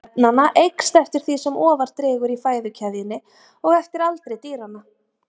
Magn efnanna eykst eftir því sem ofar dregur í fæðukeðjunni og eftir aldri dýranna.